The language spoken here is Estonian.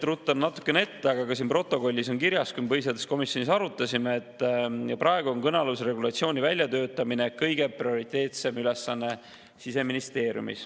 Ruttan natukene ette, aga ka siin protokollis on kirjas, et me põhiseaduskomisjonis seda arutasime ja, et praegu on kõnealuse regulatsiooni väljatöötamine Siseministeeriumis kõige prioriteetsem ülesanne.